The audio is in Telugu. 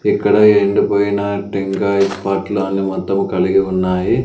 ఇక్కడ ఎండిపోయిన టెంకాయ పట్లు అన్ని మొత్తం కలిగి ఉన్నాయి.